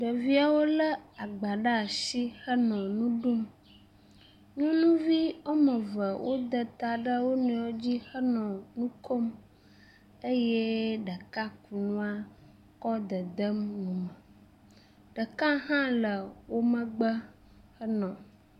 Ɖeviewo le agbã ɖe asi henɔ nu ɖum, nyɔnuvi ɔmeve woda ta ɖe wonɔɛwo dzi henɔ nukom eye ɖeka ku nua kɔ dedem nu me, ɖeka hã le womegbe henɔ.